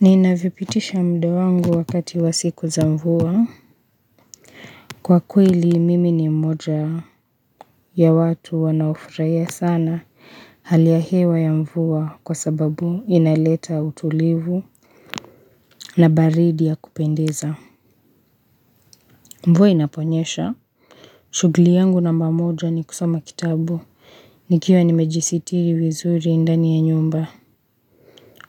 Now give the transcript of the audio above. Ninavyo pitisha muda wangu wakati wa siku za mvua kwa kweli mimi ni mmoja ya watu wanao furahia sana hali ya hewa ya mvua kwa sababu inaleta utulivu na baridi ya kupendeza mvua inaponyesha shugli yangu namba moja ni kusoma kitabu, nikiwa nimejisitiri vizuri ndani ya nyumba